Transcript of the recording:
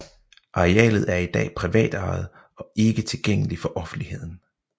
Arealet er i dag privatejet og ikke tilgængelig for offentligheden